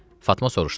Fatma soruşdu: